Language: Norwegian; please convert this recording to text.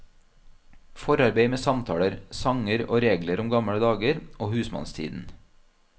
Forarbeid med samtaler, sanger og regler om gamle dager og husmannstiden.